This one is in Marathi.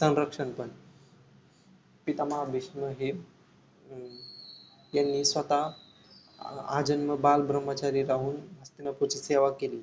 संरक्षण पण पिता महा भीष्म हे हम्म त्यांनी स्वतः अं आजन्म बालब्राम्हचारी राहून हस्तिनापूरची सेवा केली